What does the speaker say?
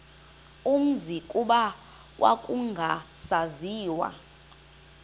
umzi kuba kwakungasaziwa